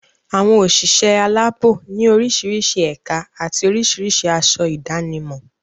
Àwọn òṣìṣẹ́ aláàbò ní orísirísi ẹ̀ka àti oríṣiríṣi aṣọ ìdánimọ̀.